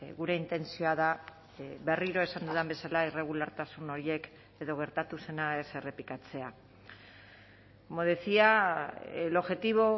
gure intentzioa da berriro esan dudan bezala irregulartasun horiek edo gertatu zena ez errepikatzea como decía el objetivo